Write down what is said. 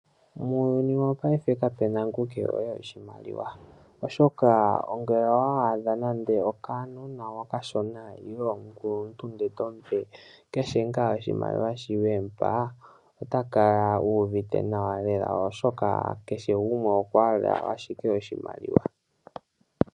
Muuyuni wopaife kapena ngu kehole oshimaliwa, oshoka ngele owa adha nando okanona okashona nenge omukuluntu ndele tomupe keshe ngaa oshimaliwa sho wemupa, ota kala uuvite nawa lela oshoka kehe gumwe okwahala ashike oshimaliwa.